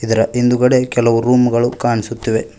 ಹಿಂದುಗಡೆ ಕೆಲವು ರೂಮು ಗಳು ಕಾಣಿಸುತ್ತಿವೆ.